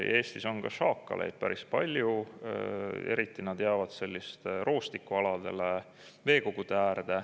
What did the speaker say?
Eestis on šaakaleid päris palju, eriti nad jäävad sellistele roostikualadele, veekogude äärde.